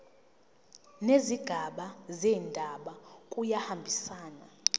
nezigaba zendaba kuyahambisana